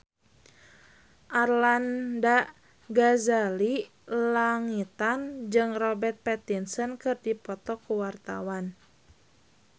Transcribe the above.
Arlanda Ghazali Langitan jeung Robert Pattinson keur dipoto ku wartawan